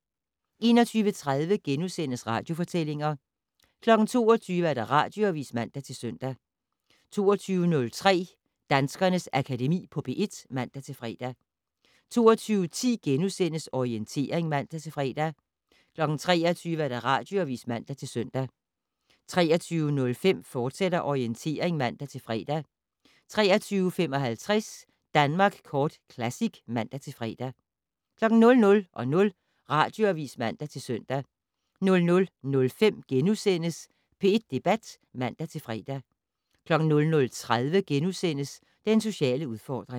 21:30: Radiofortællinger * 22:00: Radioavis (man-søn) 22:03: Danskernes Akademi på P1 (man-fre) 22:10: Orientering *(man-fre) 23:00: Radioavis (man-søn) 23:05: Orientering, fortsat (man-fre) 23:55: Danmark Kort Classic (man-fre) 00:00: Radioavis (man-søn) 00:05: P1 Debat *(man-fre) 00:30: Den sociale udfordring *